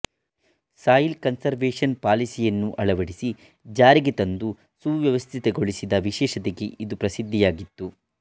soil conservation ಪಾಲಿಸಿಯನ್ನು ಅಳವಡಿಸಿ ಜಾರಿಗೆತಂದು ಸುವ್ಯವಸ್ಥಿತಗೊಳಿಸಿದ ವಿಶೇಷತೆಗೆ ಇದು ಪ್ರಸಿದ್ಧಿಯಾಗಿತ್ತು